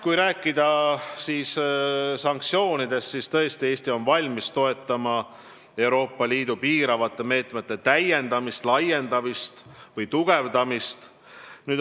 Kui rääkida sanktsioonidest, siis Eesti on tõesti valmis toetama Euroopa Liidu piiravate meetmete täiendamist, laiendamist või tugevdamist.